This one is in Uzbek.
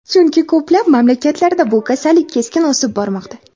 Chunki ko‘plab mamlakatlarda bu kasallik keskin o‘sib bormoqda.